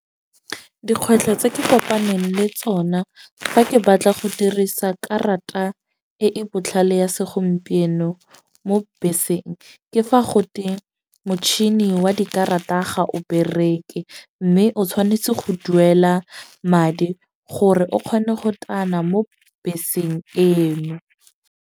Dikgwetlho tse ke kopaneng le tsona fa ke batla go dirisa karata e e botlhale ya segompieno mo beseng, ke fa gote motšhini wa dikarata ga o bereke. Mme o tshwanetse go duela madi gore o kgone go tana mo beseng eno.